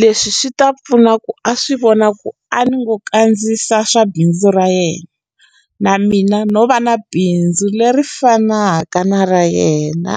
leswi swi ta pfuna ku a swi vona ku a ni ngo kandziyisa swa bindzu ra yena na mina no va na bindzu leri fanaka na ra yena.